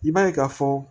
I b'a ye ka fɔ